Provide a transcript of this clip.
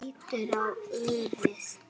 Hún lítur á úrið.